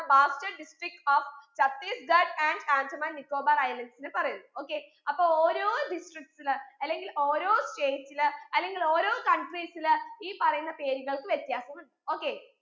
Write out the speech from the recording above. bastar district of chattisgarh and andaman nicobar islands ല് പറയുന്ന് okay അപ്പൊ ഓരോ districts ല് അല്ലെങ്കിൽ ഓരോ states ല് അല്ലെങ്കിൽ ഓരോ countries ല് ഈ പറയുന്ന പേരുകൾക്ക് വിത്യാസം ഉണ്ട് okay